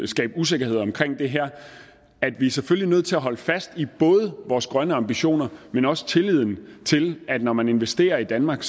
skabe usikkerhed om det her at vi selvfølgelig er nødt til at holde fast i både vores grønne ambitioner men også tilliden til at når man investerer i danmark